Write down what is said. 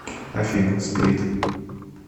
афина сплит